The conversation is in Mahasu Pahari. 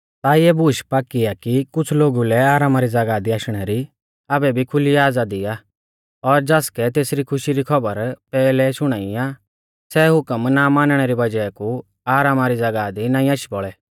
ता इऐ बूश पाक्की आ कि कुछ़ लोगु लै आरामा री ज़ागाह दी आशणै री आबै भी खुली आज़ादी आ और ज़ासकै तेसरी खुशी री खौबर पैहलै शुणाई आ सै हुकम ना मानणै री वज़ाह कु आरामा री ज़ागाह दी नाईं आशी बौल़ै